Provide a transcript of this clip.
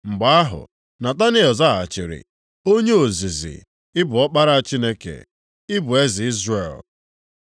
Mgbe ahụ, Nataniel zaghachiri, “Onye ozizi, ị bụ Ọkpara Chineke; ị bụ eze Izrel.”